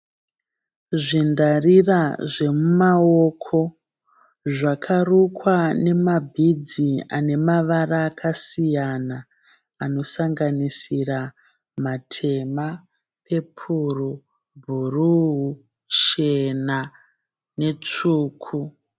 Zvindarira zvemumaoko zvakarukwa nemabhidzi ane mavara akasiyana anosanganisira matema pepo bhuruu chena netsvuku.